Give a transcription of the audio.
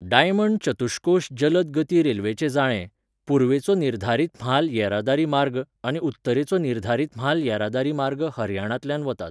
Diamond चतुश्कोश जलद गती रेल्वेचें जाळें, पुर्वेचो निर्धारीत म्हाल येरादारी मार्ग आनी उत्तरेचो निर्धारीत म्हाल येरादारी मार्ग हरियाणांतल्यान वतात.